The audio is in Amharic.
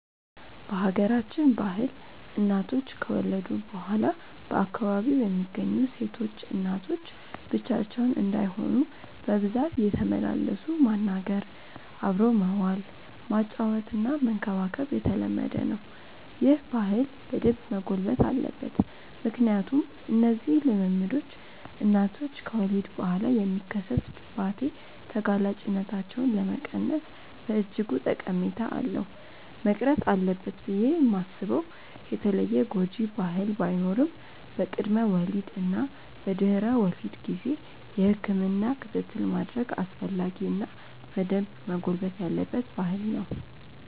በሀገራችን ባህል እናቶች ከወለዱ በኋላ በአካባቢው የሚገኙ ሴቶች እናቶች ብቻቸውን እንዳይሆኑ በብዛት እየተመላለሱ ማናገር፣ አብሮ መዋል፣ ማጫወትና መንከባከብ የተለመደ ነው። ይህ ባህል በደንብ መጎልበት አለበት ምክንያቱም እነዚህ ልምምዶች እናቶች ከወሊድ በኋላ የሚከሰት ድባቴ ተጋላጭነታቸውን ለመቀነስ በእጅጉ ጠቀሜታ አለው። መቅረት አለበት ብዬ ማስበው የተለየ ጎጂ ባህል ባይኖርም በቅድመ ወሊድ እና በድህረ ወሊድ ጊዜ የህክምና ክትትል ማድረግ አስፈላጊ እና በደንብ መጎልበት ያለበት ባህል ነው።